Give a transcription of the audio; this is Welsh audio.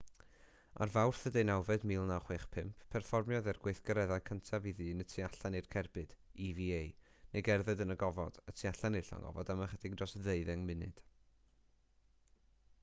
ar fawrth 18 1965 perfformiodd e'r gweithgaredd cyntaf i ddyn y tu allan i'r cerbyd eva neu gerdded yn y gofod y tu allan i'r llong ofod am ychydig dros ddeuddeng munud